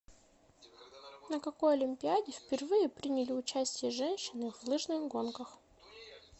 на какой олимпиаде впервые приняли участие женщины в лыжных гонках